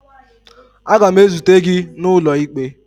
Aga m ezute gị n'ụlọ ikpe